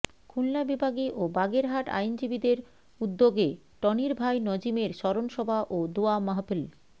খুলনা বিভাগী ও বাগেরহাট আইনজীবীদের উদ্যগে টনির ভাই নজিবের স্মরন শভা ও দোয়া মাহফিল